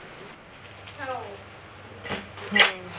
हाओ